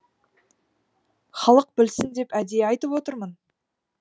халық білсін деп әдейі айтып отырмын